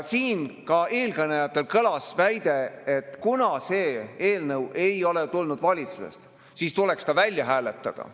Siin ka eelkõnelejatelt kõlas väide, et kuna see eelnõu ei ole tulnud valitsusest, siis tuleks ta välja hääletada.